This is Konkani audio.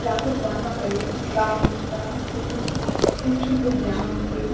या फोटवान माका एक ग्राउन्ड दिसता थंय खूप खूपशी बुर्गी हा ऊबी.